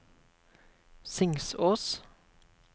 Singsås